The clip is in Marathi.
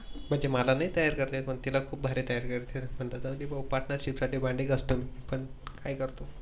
मला नाही तयार करता येत पण तिला खूप भारी तयार करता येत, पन जाऊदे Partnership साठी भांडे खासतो मी काय करतो.